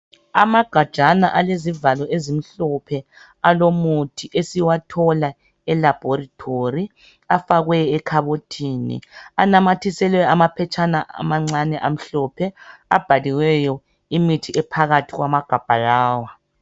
Amagajana alezivalo ezimhlophe alomuthi esiwathola elabhorithori, afakwe ekhabothini. Anamathiselwe amaphetshana amancane amhlophe, abhaliweyo imithi ephakathi kwamagabha lawa.